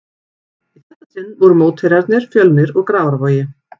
Í þetta sinn voru mótherjarnir Fjölnir úr Grafarvogi.